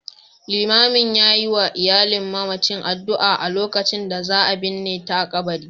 Liman ya yi wa iyalin mamacin addu'a a lokacin da za a binne ta a kabari